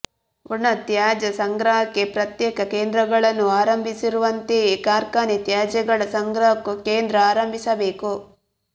ಒಣ ತ್ಯಾಜ್ಯ ಸಂಗ್ರಹಕ್ಕೆ ಪ್ರತ್ಯೇಕ ಕೇಂದ್ರಗಳನ್ನು ಆರಂಭಿಸಿರುವಂತೆಯೇ ಕಾರ್ಖಾನೆ ತ್ಯಾಜ್ಯಗಳ ಸಂಗ್ರಹಕ್ಕೂ ಕೇಂದ್ರ ಆರಂಭಿಸಬೇಕು